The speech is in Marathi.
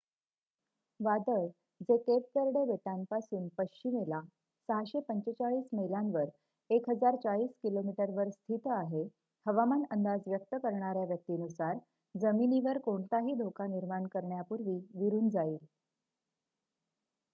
वादळ जे केप वेर्डे बेटांपासून पश्चिमेला 645 मैलावर 1040 किमी वर स्थित आहे हवामान अंदाज व्यक्त करणाऱ्या व्यक्ती नुसार जमिनीवर कोणताही धोका निर्माण करण्यापूर्वी विरून जाईल